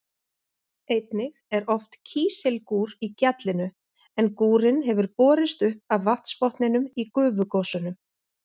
Einnig er oft kísilgúr í gjallinu en gúrinn hefur borist upp af vatnsbotninum í gufugosunum.